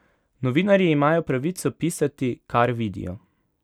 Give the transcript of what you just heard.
Novinarji imajo pravico pisati, kar vidijo.